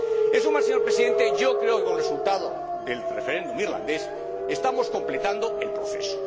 En suma, señor Presidente, yo creo que con el resultado del referéndum irlandés estamos completando el proceso.